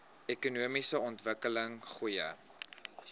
ekonomiese ontwikkeling goeie